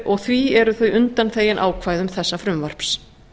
og því eru þau undanþegin ákvæðum þessa frumvarps